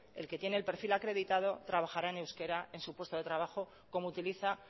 el que tiene el perfil acreditado trabajará en euskera en su puesto de trabajo como utiliza